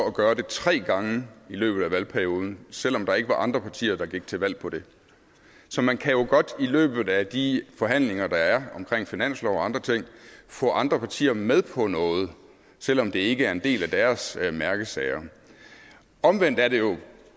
at gøre det tre gange i løbet af valgperioden selv om der ikke var andre partier der gik til valg på det så man kan jo godt i løbet af de forhandlinger der er i finansloven og andre ting få andre partier med på noget selv om det ikke er en del af deres mærkesager omvendt er det jo